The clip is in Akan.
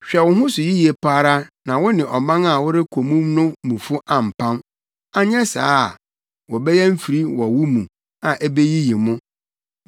Hwɛ wo ho so yiye pa ara na wo ne ɔman a worekɔ mu no mufo ampam, anyɛ saa a, wɔbɛyɛ mfiri wɔ mo mu a ebeyiyi mo.